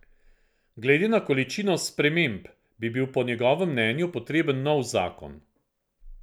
Glede na količino sprememb bi bil po njegovem mnenju potreben nov zakon.